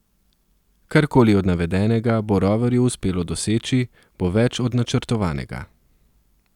Karkoli od navedenega bo roverju uspelo doseči, bo več od načrtovanega.